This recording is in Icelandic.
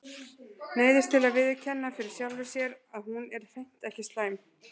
Neyðist til að viðurkenna fyrir sjálfri sér að hún er hreint ekki slæm.